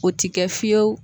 O ti kɛ fiyewu